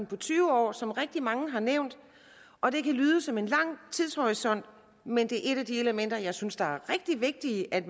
på tyve år som rigtig mange har nævnt og det kan lyde som en lang tidshorisont men det er et af de elementer som jeg synes er rigtig vigtigt at